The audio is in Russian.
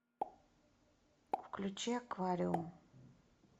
включи аквариум